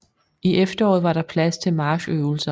I efteråret var der plads til marchøvelser